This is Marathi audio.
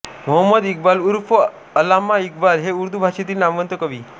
मोहम्मद इकबाल उर्फ अल्लामा इक्बाल हे उर्दू भाषेतील नामवंत कवी